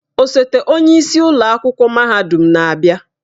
Osote onye isi ụlọ akwụkwọ mahadum na-abịa.